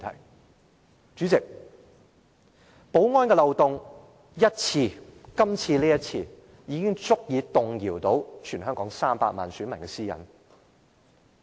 代理主席，保安漏洞只需出現一次，便是今次這一次，就足以動搖到全香港300萬名選民的私隱。